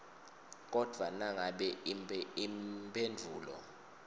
kodvwa nangabe imphendvulo